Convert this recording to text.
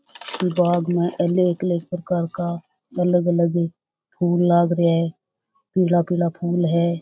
बाग़ में हरे कलर का कर का अलग अलग फूल लाग रहा है पीला पीला फूल है।